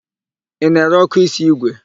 Ị na-ere ọ́kụ́ísí ígwè?